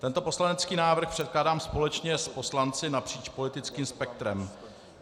Tento poslanecký návrh předkládám společně s poslanci napříč politickým spektrem.